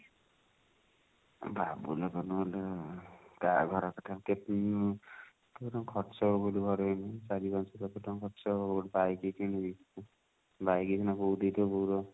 ବାବୁ ଲୋକ ନୁହଁ ମ କାହା ଘର କଥା ଆଉ କେତେ ଖର୍ଚ ହବ ଘରେ ଚାରି ପାଞ୍ଚ ଲକ୍ଷ ଟଙ୍କା ଖର୍ଚ ହବ ଗୋଟେ bike କିଣିବି bike ଏଇନା ବହୁତ ହେଇଥିବ ବଉଲୋ